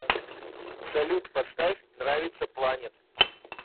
салют поставь нравится планет